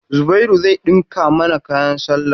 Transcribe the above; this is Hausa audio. Zubairu zai ɗinka mana kayan sallah.